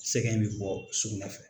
Sɛgɛn mɛ bɔ sugunɛ fɛ.